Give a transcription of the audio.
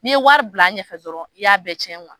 N'i ye wari bil'a ɲɛfɛ dɔrɔn i y'a bɛɛ tiɲɛ .